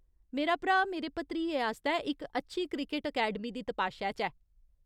मेरा भ्राऽ मेरे भतरिये आस्तै इक अच्छी क्रिकट अकैडमी दी तपाशै च ऐ।